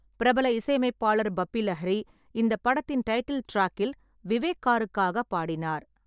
பிரபல இசையமைப்பாளர் பப்பி லாஹிரி இந்த படத்தின் டைட்டில் டிராக்கில் விவேக் காருக்காக பாடினார்.